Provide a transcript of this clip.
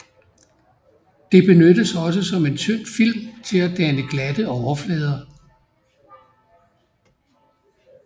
Det benyttes også som en tynd film til at danne glatte overflader